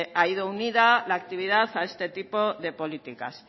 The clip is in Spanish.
ha ido unida la actividad a este tipo de políticas